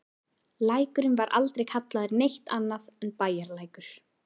Lækurinn var aldrei kallaður neitt annað en Bæjarlækur.